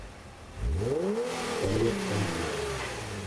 наталья тангиева